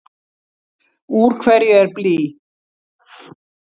Úr hverju er blý?